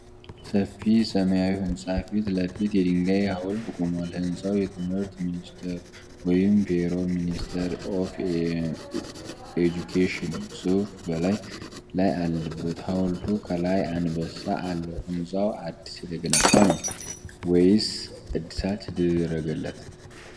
ሰፊ ሰማያዊ ሕንፃ ፊት ለፊት የድንጋይ ሐውልት ቆሟል። ሕንፃው የትምህርት ሚኒስቴር (ፎሬ ሚኒስትሪ ኦፍ ኤጁኬሽን) ጽሑፍ በላዩ ላይ አለበት። ሐውልቱ ከላይ አንበሳ አለው። ሕንፃው አዲስ የተገነባ ነው ወይስ እድሳት የተደረገለት?